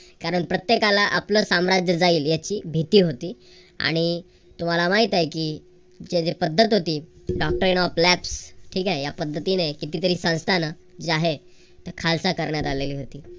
कारण प्रत्येकाला आपलं साम्राज्य जाईल याची भीती होती. आणि तो मला माहित आहे की येथे जी एक पद्धत होती. ठीक आहे. या पद्धतीने कितीतरी संस्थांना जे आहेत ती खालसा करण्यात आली होती.